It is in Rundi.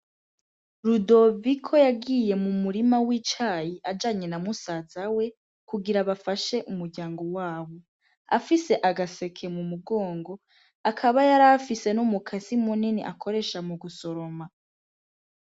Rudoviko yagiye mu murima w'icayi ajanye na musaza we kugira bafashe umuryango wabo afise agaseke mu mugongo akaba yar afise no mu kasimu nini akoresha mu gusoroma.